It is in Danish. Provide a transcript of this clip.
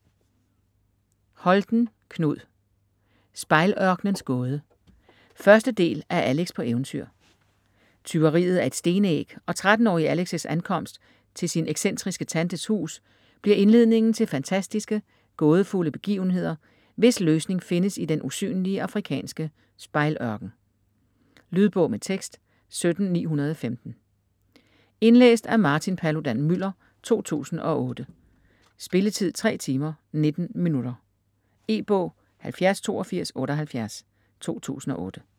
Holten, Knud: Spejl-ørkenens gåde 1. del af Alex på eventyr. Tyveriet af et stenæg og 13-årige Alex' ankomst til sin excentriske tantes hus bliver indledningen til fantastiske, gådefulde begivenheder, hvis løsning findes i den usynlige afrikanske Spejl-ørken. Lydbog med tekst 17915 Indlæst af Martin Paludan-Müller, 2008. Spilletid: 3 timer, 19 minutter. E-bog 708278 2008.